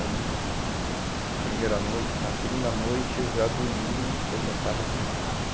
Aí, primeira noite, na segunda noite eu já dormi, porque eu já estava cansado.